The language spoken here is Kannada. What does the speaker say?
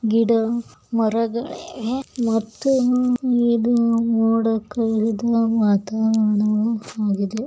ಗಿಡ ಮರಗಳಿವೆ ಮತ್ತು ಇದು ಮೋಡ ಕವಿದ ವಾತಾವರಣ ಆಗಿದೆ.